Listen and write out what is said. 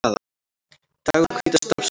Dagur hvíta stafsins